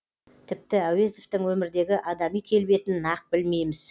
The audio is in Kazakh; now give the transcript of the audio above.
тіпті әуезовтің өмірдегі адами келбетін нақ білмейміз